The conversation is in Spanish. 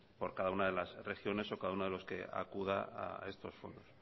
por cada una de lasregiones o cada uno de los que acuda a estos fondos